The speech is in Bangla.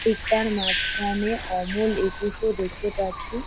ঠিক তার মাঝখানে অমল একুশো দেখতে পাচ্ছি ।